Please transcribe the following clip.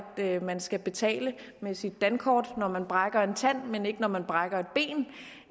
man skal betale med sit dankort når man brækker en tand men ikke når man brækker